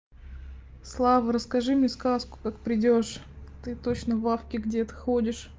слава расскажи мне сказку как придёшь ты точно в лавке где-то ходишь